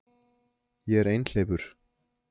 Ég er einhleypur